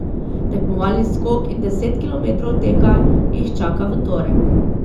Tekmovalni skok in deset kilometrov teka jih čaka v torek.